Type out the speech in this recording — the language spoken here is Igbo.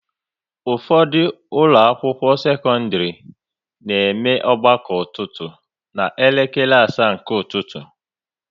Ụfọdụ ụlọ akwụkwọ sekọndrị na eme ọgbakọ ọtụtụ ná elekere asaa nke ụtụtụ